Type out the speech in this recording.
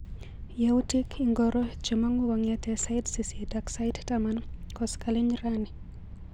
Yautik ingoro chemang'u kong'ete sait sisit ak sait taman koskoliny rani.